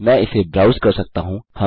मैंने इसे ब्राउस कर सकता हूँ